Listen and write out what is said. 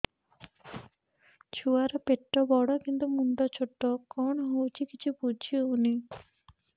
ଛୁଆର ପେଟବଡ଼ କିନ୍ତୁ ମୁଣ୍ଡ ଛୋଟ କଣ ହଉଚି କିଛି ଵୁଝିହୋଉନି